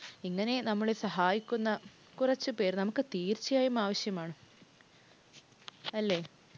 ഇങ്ങനെ നമ്മളെ സഹായിക്കുന്ന കുറച്ചു പേര്‍ നമുക്ക് തീർച്ചയായും ആവശ്യമാണ്. അല്ലെ?